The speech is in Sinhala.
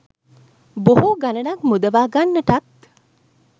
බොහෝ ගණනක් මුදවා ගන්නටත්